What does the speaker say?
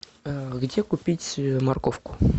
где купить морковку